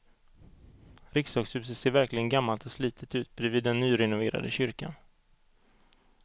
Riksdagshuset ser verkligen gammalt och slitet ut bredvid den nyrenoverade kyrkan.